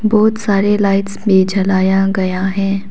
बहुत सारे लाइट्स भी जलाया गया है।